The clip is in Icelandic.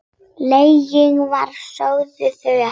Lengi vel sögðu þau ekkert.